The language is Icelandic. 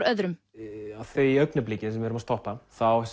öðrum á því augnabliki sem við erum að stoppa